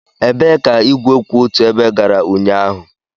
Ebee ka igwe kwụ otu ebe gara ụnyaahụ?